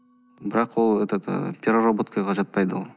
бірақ ол этот і переработкаға жатпайды ол